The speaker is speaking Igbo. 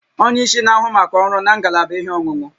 Onye isi na-ahụ maka ọrụ na ngalaba ihe ọṅụṅụ